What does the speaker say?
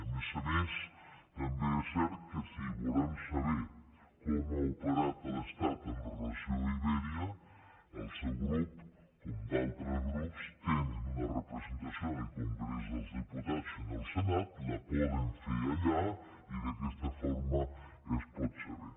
a més a més també és cert que si volem saber com ha operat l’estat amb relació a iberia el seu grup com d’altres grups tenen una representació en el congrés dels diputats i en el senat la poden fer allà i d’aquesta forma es pot saber